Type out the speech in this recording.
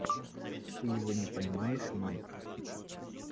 ты его не поймаешь майк